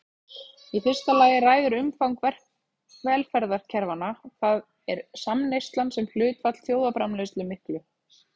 Í fyrsta lagi ræður umfang velferðarkerfanna, það er samneyslan sem hlutfall þjóðarframleiðslu miklu.